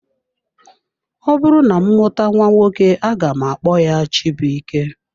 Ọbụrụ na m mụta nwa nwoke aga m akpọ ya Chibuike.